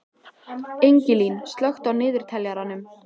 Ingilín, slökktu á niðurteljaranum.